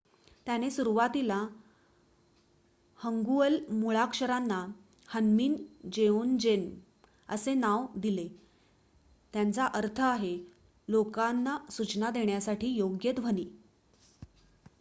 "त्याने सुरुवातील हन्गुअल मुळाक्षरांना ह्न्मीन जेओन्जेम असे नाव दिले ज्याचा अर्थ आहे "लोकांना सूचना देण्यासाठी योग्य ध्वनी ".